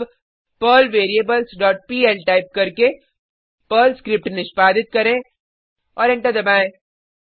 अब Perl variables dot PL type करके Perl script निष्पादित करें और एंटर दबाएँ